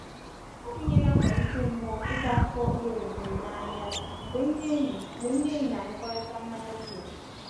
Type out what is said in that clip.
ọ bụ ihe na-akwalite mmuo ịkọ akụkọ uru e nwetere n'ahia mgbe ndị enyi mgbe ndị enyi na-anụkọrịta mmanya biya.